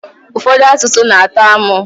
Ụfọdụ asụsụ n'atọ amụ